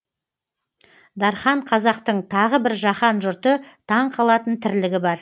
дархан қазақтың тағы бір жаһан жұрты таң қалатын тірлігі бар